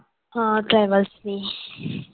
हां travels ने